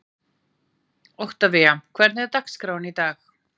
Oktavía, hvernig er dagskráin í dag?